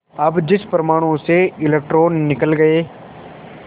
अब जिस परमाणु से इलेक्ट्रॉन निकल गए